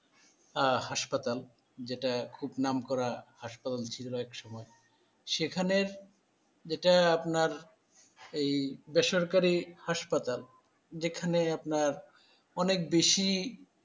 আহ hospital যেটা খুব নামকরা hospital ছিল একসময় সেখানে যেটা আপনার এই বেসরকারি hospital যেখানে আপনার অনেক বেশি,